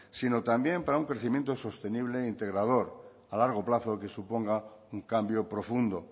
sino también para un crecimiento sostenible e integrador a largo plazo que suponga un cambio profundo